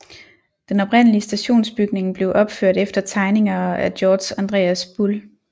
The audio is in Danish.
Deb oprindelige stationsbygning blev opført efter tegninger af Georg Andreas Bull